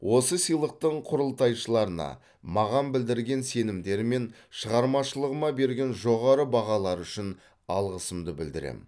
осы сыйлықтың құрылтайшыларына маған білдірген сенімдері мен шығармашылығыма берген жоғары бағалары үшін алғысымды білдіремін